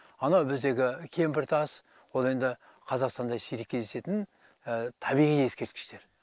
анау біздегі кемпіртас ол енді қазақстанда сирек кездесетін табиғи ескерткіштер